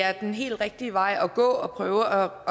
er den helt rigtige vej at gå at prøve at